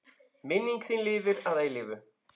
Minning þín lifir að eilífu.